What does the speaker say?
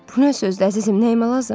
Bu nə sözdü, əzizim, nəyimə lazım?